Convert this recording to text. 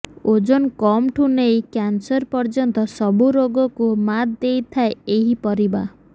ଓଜନ କମ୍ ଠୁ ନେଇ କ୍ୟାନ୍ସର ପର୍ଯ୍ୟନ୍ତ ସବୁ ରୋଗକୁ ମାତ୍ ଦେଇଥାଏ ଏହି ପରିବା